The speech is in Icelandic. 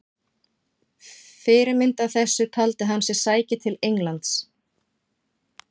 Fyrirmynd að þessu taldi hann sig sækja til Englands.